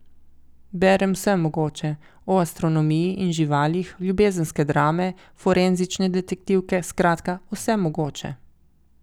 Berem vse mogoče, o astronomiji in živalih, ljubezenske drame, forenzične detektivke, skratka, vse mogoče.